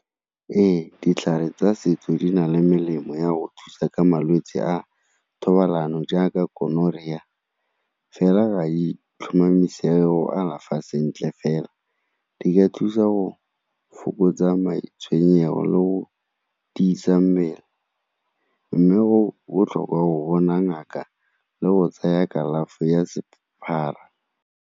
Ee, ditlhare tsa setso di na le melemo ya go thusa gre malwetse a thobalano jaaka gonorrhea, fela itlhomamisa alafa sentle fela di ka thusa go fokotsa matshwenyego le go tiisa mmele mme go botlhokwa go bona ngaka le go tsaya kalafi ya .